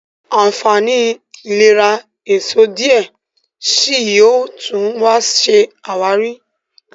ànfàní ìlera èsó diẹ síi yóò tún ṣe àwárí.